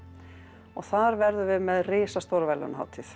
og þar verðum við með risastóra verðlaunahátíð